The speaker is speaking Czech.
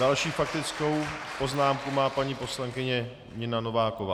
Další faktickou poznámku má paní poslankyně Nina Nováková.